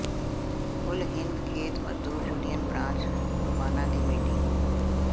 ਕੁਲ Hind Khet Mazdoor union branch Rupana ਦੀ meeting